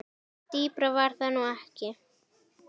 Dýpra var það nú ekki.